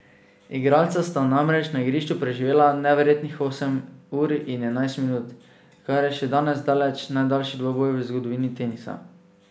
Igralca sta namreč na igrišču preživela neverjetnih osem ur in enajst minut, kar je še danes daleč najdaljši dvoboj v zgodovini tenisa.